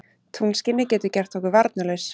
Tunglskinið getur gert okkur varnarlaus.